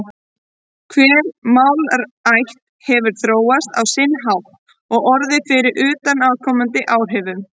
Hver málaætt hefur þróast á sinn hátt og orðið fyrir utanaðkomandi áhrifum.